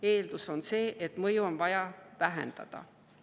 Eeldus on see, et mõju on vaja vähendada.